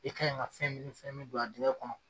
I kaɲi ka fɛn min fɛn min don a dingɛ kɔnɔ